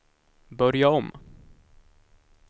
börja om